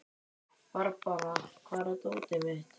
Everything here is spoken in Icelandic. Barbára, hvar er dótið mitt?